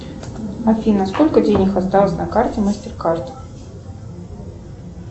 афина сколько денег осталось на карте мастеркард